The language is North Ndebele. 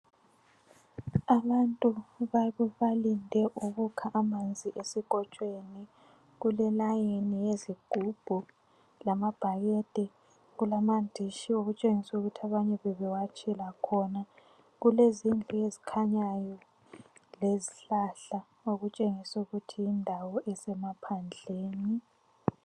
Abantu balinde ukukha amanzi esikotshweni. Kulelayini yezigubhu lamabhakede. Kulamandishi okutshengisa ukuthi abanye bebewatshela khona. Kulezindlu ezikhanyayo lezihlahla okutshengisa ukuthi yindawo esemaphandleni.